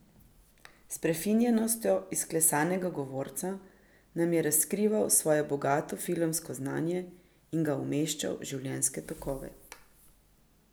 S prefinjenostjo izklesanega govorca nam je razkrival svoje bogato filmsko znanje in ga umeščal v življenjske tokove.